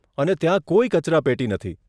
અને ત્યાં કોઈ કચરાપેટી નથી.